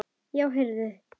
Já, heyrðu.